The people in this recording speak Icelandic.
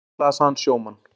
Sækja slasaðan sjómann